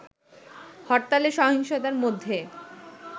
হরতালে সহিংসতার মধ্যে